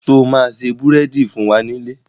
Sọ ma se búrèdì fún wa nílé?